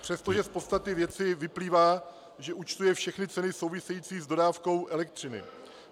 - přestože z podstaty věci vyplývá, že účtuje všechny ceny související s dodávkou elektřiny.